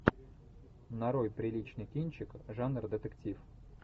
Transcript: нарой приличный кинчик жанр детектив